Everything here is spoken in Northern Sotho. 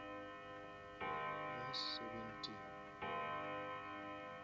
verse seventeen